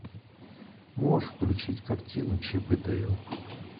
можешь включить картину чип и дейл